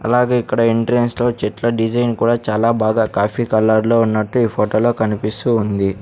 అలాగే ఇక్కడ ఎంట్రన్స్ లో చెట్ల డిజైన్ కూడా చాలా బాగా కాఫీ కలర్ లో ఉన్నట్టు ఈ ఫోటోలో కనిపిస్తూ ఉంది.